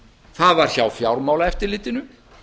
það var hjá fjármálaeftirlitinu